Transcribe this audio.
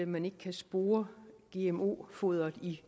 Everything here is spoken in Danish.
man ikke kan spore gmo foderet i